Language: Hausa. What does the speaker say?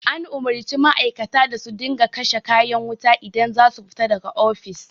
An umarci ma'aikata da su dinga kashe kayan wuta idan za su fita da ga ofis